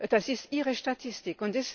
Das ist Ihre Statistik.